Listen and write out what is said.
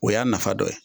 O y'a nafa dɔ ye